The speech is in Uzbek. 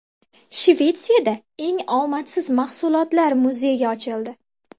Shvetsiyada eng omadsiz mahsulotlar muzeyi ochildi.